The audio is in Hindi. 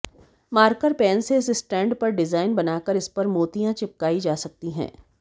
मार्कर पेन से इस स्टैंड पर डिजाइन बनाकर इसपर मोतियां चिपकाई जा सकती हैं